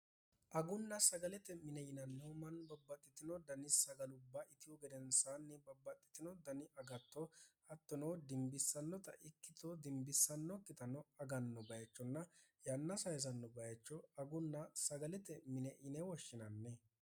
agunna sagalete mine yinannihu manni babbaxxitino dani sagalubba itihu gedensaanni babbaxxitino dani agatto attono dimbissannota ikkito dimbissannokkitano aganno bayichonna yanna sayisanno bayicho agunna sagalete mine ine woshshinanni